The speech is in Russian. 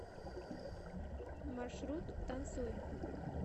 маршрут танцуй